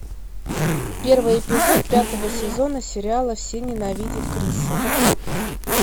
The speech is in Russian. первый эпизод пятого сезона сериала все ненавидят криса